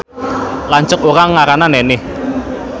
Lanceuk urang ngaranna Nenih